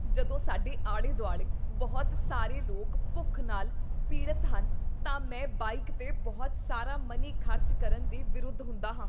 ਜਦੋਂ ਸਾਡੇ ਆਲੇ ਦੁਆਲੇ ਬਹੁਤ ਸਾਰੇ ਲੋਕ ਭੁੱਖ ਨਾਲ ਪੀੜਤ ਹਨ ਤਾਂ ਮੈਂ ਬਾਈਕ 'ਤੇ ਬਹੁਤ ਸਾਰਾ ਮਨੀ ਖ਼ਰਚ ਕਰਨ ਦੇ ਵਿਰੁੱਧ ਹੁੰਦਾ ਹਾਂ।